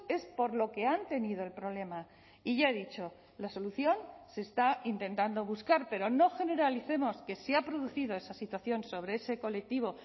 es por lo que han tenido el problema y ya he dicho la solución se está intentando buscar pero no generalicemos que se ha producido esa situación sobre ese colectivo